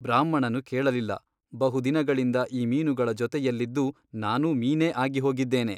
ಬ್ರಾಹ್ಮಣನು ಕೇಳಲಿಲ್ಲ ಬಹು ದಿನಗಳಿಂದ ಈ ಮೀನುಗಳ ಜೊತೆಯಲ್ಲಿದ್ದು ನಾನೂ ಮೀನೇ ಆಗಿಹೋಗಿದ್ದೇನೆ.